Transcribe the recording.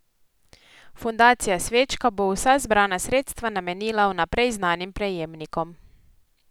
Fundacija Svečka bo vsa zbrana sredstva namenila vnaprej znanim prejemnikom.